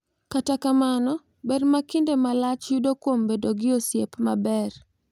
Kata kamano, ber ma kinde malach ma yudo kuom bedo gi osiep maber .